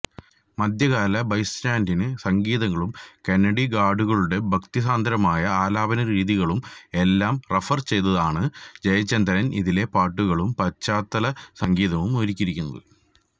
മധ്യകാല ബൈസന്റയിന് സംഗീതങ്ങളും കാന്ഡിഗാഡുകളുടെ ഭക്തിസാന്ദ്രമായ ആലാപനരീതികളും എല്ലാം റഫര് ചെയ്താണ് ജയചന്ദ്രന് ഇതിലെ പാട്ടുകളും പശ്ചാത്തല സംഗീതവും ഒരുക്കിയിരിക്കുന്നത്